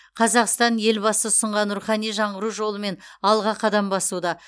қазақстан елбасы ұсынған рухани жаңғыру жолымен алға қадам басуда